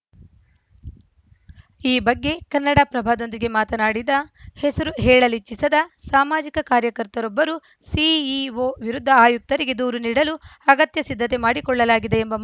ಈ ಬಗ್ಗೆ ಕನ್ನಡಪ್ರಭದೊಂದಿಗೆ ಮಾತನಾಡಿದ ಹೆಸರು ಹೇಳಲಿಚ್ಚಿಸದ ಸಾಮಾಜಿಕ ಕಾರ್ಯಕರ್ತರೊಬ್ಬರು ಸಿಇಒ ವಿರುದ್ಧ ಆಯುಕ್ತರಿಗೆ ದೂರು ನೀಡಲು ಅಗತ್ಯ ಸಿದ್ಧತೆ ಮಾಡಿಕೊಳ್ಳಲಾಗಿದೆ ಎಂಬ